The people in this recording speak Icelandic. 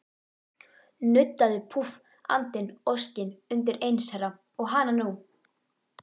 Nuddaðu, púff, andinn, óskin, undireins herra, og hananú!